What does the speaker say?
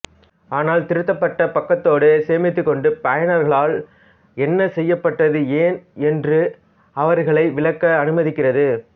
ஆனால் திருத்தப்பட்ட பக்கத்தோடு சேமித்துக்கொண்டு பயனர்களால் என்ன செய்யப்பட்டது ஏன் என்று அவர்களை விளக்க அனுமதிக்கிறது